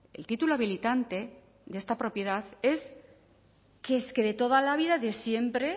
el título habilitante de esta propiedad es que es que de toda la vida de siempre